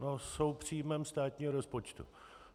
No jsou příjmem státního rozpočtu.